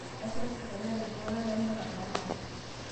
Eitashito serkali aaret iltunganak lemeeta neemanya